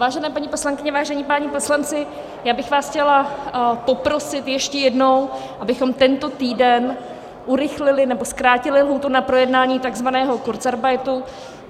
Vážené paní poslankyně, vážení páni poslanci, já bych vás chtěla poprosit ještě jednou, abychom tento týden urychlili nebo zkrátili lhůtu na projednání tzv. kurzarbeitu.